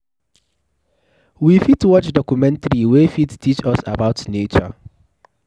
We fit watch documentary wey fit teach us about nature